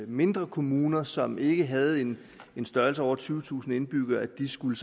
mindre kommuner som ikke havde en størrelse over tyvetusind indbyggere skulle